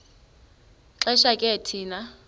xesha ke thina